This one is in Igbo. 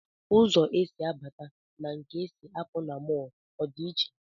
Ụzọ e si abata na nke e si apụ na mọl a ọ dị iche?